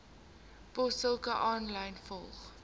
posstukke aanlyn volg